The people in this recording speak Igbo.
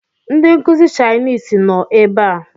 Ndi nkuzi chainisi no ebe a